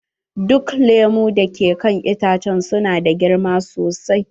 Duk lemu da ke kan itacen su na da girma sosai.